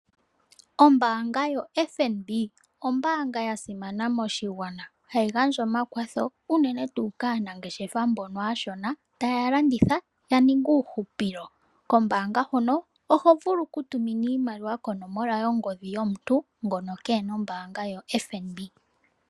Ombaanga yoFNB oya simana moshigwana. Ohayi gandja omakwatho unene tuu kaanangeshefa mbono aashona taa landitha ya mone uuhupilo. Kombaanga huno oho vulu okutumina iimaliwa konomola yongodhi yomuntu ngono keena okambo kombaanga oyo tuu ndjika.